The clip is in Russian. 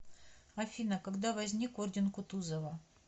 афина когда возник орден кутузова